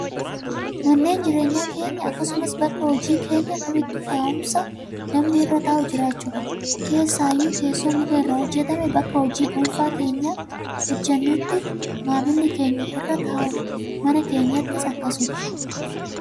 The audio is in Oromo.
Manneen jireenyaa keenya akkasumas bakka hojii keenyaa kamittuu taa'umsa namni irra taa'u jiraachuu qaba. Keessaayyuu teessoon muka irraa hojjatame bakka hojii dhuunfaa keenyaa hojjatannutti maamilli keenya irra taa'u. Mana keenyattis akkasumas.